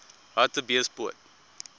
hartbeespoort